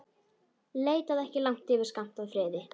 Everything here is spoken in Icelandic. Leitaðu ekki langt yfir skammt að friði.